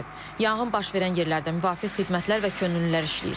Yanğın baş verən yerlərdə müvafiq xidmətlər və könüllülər işləyir.